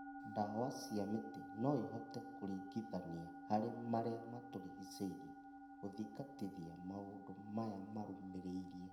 Ndawa cia mĩtĩ noĩhote kũringithania harĩ marĩa matũrigicĩirie gũthingatithia maũndũ maya marũmĩrĩire